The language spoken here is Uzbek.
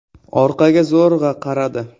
orqaga zo‘rg‘a qaradi.